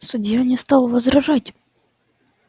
судья не стал возражать